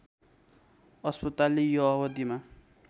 अस्पतालले यो अवधिमा